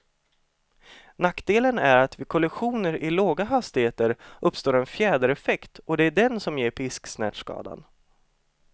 Nackdelen är att vid kollisioner i låga hastigheter uppstår en fjädereffekt, och det är den som ger pisksnärtskadan.